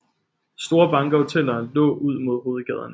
Store banker og hoteller lå ud mod hovedgaderne